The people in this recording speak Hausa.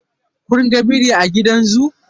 Kun ga biri a gidan zoo?